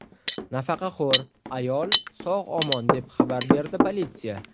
Nafaqaxo‘r ayol sog‘-omon, deb xabar berdi politsiya.